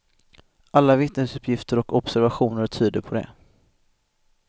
Alla vittnesuppgifter och obeservationer tyder på det.